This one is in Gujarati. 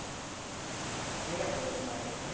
કયા course માં છે ત્યાં